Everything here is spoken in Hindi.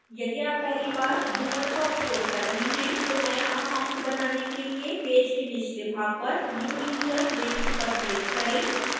यदि आप पहली बार bhuvan का उपयोग कर रहे हैं तो नया account बनाने के लिए पेज के निचले भाग पर new user लिंक पर क्लिक करें